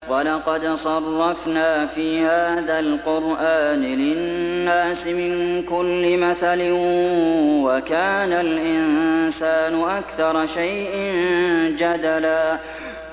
وَلَقَدْ صَرَّفْنَا فِي هَٰذَا الْقُرْآنِ لِلنَّاسِ مِن كُلِّ مَثَلٍ ۚ وَكَانَ الْإِنسَانُ أَكْثَرَ شَيْءٍ جَدَلًا